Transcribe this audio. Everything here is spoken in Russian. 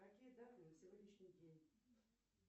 какие даты на сегодняшний день